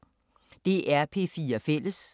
DR P4 Fælles